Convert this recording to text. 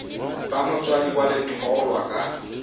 ba motswadi wa letholwa ka